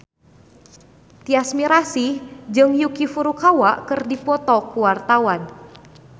Tyas Mirasih jeung Yuki Furukawa keur dipoto ku wartawan